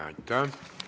Aitäh!